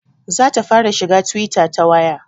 Za ta fara shiga twitter ta waya